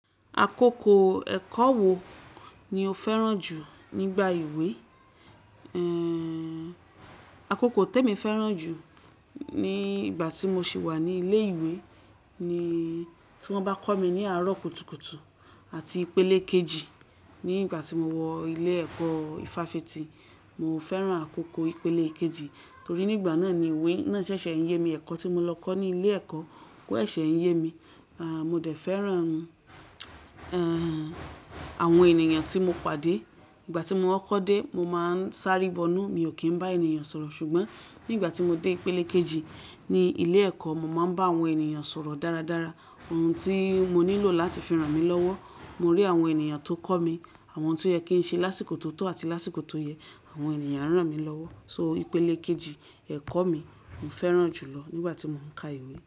Àkókò ẹ̀kọ́ wo ni o fẹ́ràn jù nígbà ìwé? Àkókò tó mi fẹ́ràn jù ní ìgbà tí mo ṣì wà ní ilé ìwé ni tí wọ́n bá kọ́ mi ní àárọ̀ kùtùkùtù àti ìpele kejì. Ní ìgbà tí mo wọ ilé ẹ̀kọ́ ifáfitì, mo fẹ́ràn àkókò ìpele kejì torí nígbà náà ni ìwé náà ṣẹ̀ṣẹ̀ ń yé mi. Ẹ̀kọ́ tí mo lọ kọ́ ní ilé ẹ̀kọ́ kó ẹ̀ṣẹ̀ ń yé mi. Mo dẹ̀ fẹ́ràn, àwọn ènìyàn tí mo pàdé. Ìgbà tí mo ń kọ́ dé, mo máa ń sá ribọnú, mi ò kí ń bá ènìyàn sọ̀rọ̀. Ṣùgbọ́n ní ìgbà tí mo dé ìpele kejì ní ilé ẹ̀kọ́, mo máa ń bá àwọn ènìyàn sọ̀rọ̀ dáradára. Ohun tí mo nílò láti fi ràn mí lọ́wọ́, mo rí àwọn ènìyàn tó kọ́ mi, àwọn tí ó yẹ kí ń ṣe lásìkò tó tọ́ àti lásìkò tó yẹ, àwọn ènìyàn rán mi lọ́wọ́. So ìpele kejì ẹ̀kọ́ mi mo fẹ́ràn jù lọ nígbà tí mò ń ka ìwé.